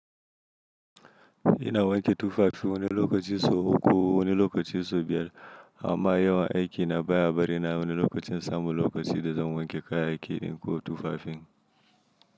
Ina wanke tufafi wani lokaci sau uku wani lokaci sau biyar amma yawan aiki na baya bari na wani lokaci in samu lokaci da zan wanke kayan aiki ɗin ko tufafin.